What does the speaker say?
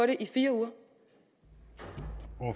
det jo